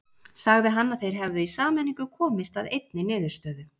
Sagði hann að þeir hefðu í sameiningu komist að einni niðurstöðu.